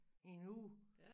En uge